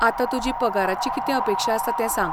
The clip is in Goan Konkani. आता तुजी पगाराची कितें अपेक्षा आसा तें सांग.